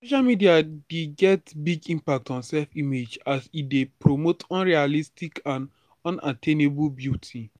social media dey get big impact on self-image as e dey promote unrealistic and unattainable beauty.